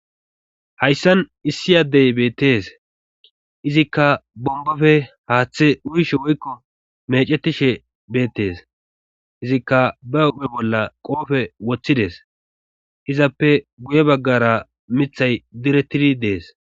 hayssan issi addey beettees izikka bombofe haaththe uyshe woykko mecetishe beettees izikka ba upe bolla qoofe woththides izappe guye baggara mithay direttidi dees